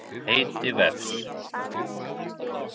Heiti vefs.